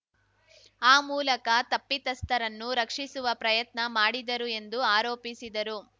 ಆ ಮೂಲಕ ತಪ್ಪಿತಸ್ಥರನ್ನು ರಕ್ಷಿಸುವ ಪ್ರಯತ್ನ ಮಾಡಿದರು ಎಂದು ಆರೋಪಿಸಿದರು